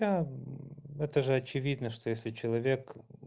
а это же очевидно что если человек